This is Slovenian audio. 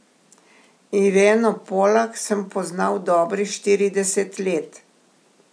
Ireno Polak sem poznal dobrih štirideset let.